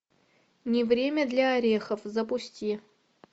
не время для орехов запусти